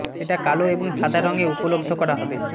এটা কালো এবং সাদা রং এ উপলব্ধ করা হবে